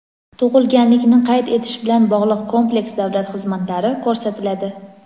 Tug‘ilganlikni qayd etish bilan bog‘liq kompleks davlat xizmatlari ko‘rsatiladi.